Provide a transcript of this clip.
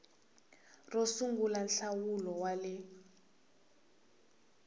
ro sungula nhlawulo wa le